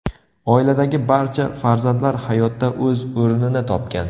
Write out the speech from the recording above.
Oiladagi barcha farzandlar hayotda o‘z o‘rnini topgan.